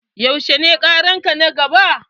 Yaushe ne ƙaran ka na gaba?